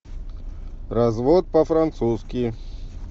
развод по французски